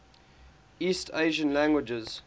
east asian languages